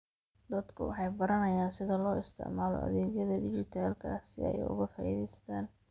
Dadku waxay baranayaan sida loo isticmaalo adeegyada dhijitaalka ah si ay uga faa'iidaystaan.